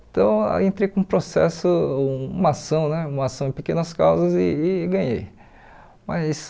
Então, aí entrei com um processo, uma ação né uma ação em pequenas causas e e ganhei mas.